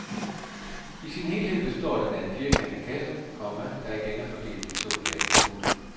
I sin helhed består den af en firkantet kasse, komma der igen er fordelt i to lag. punktum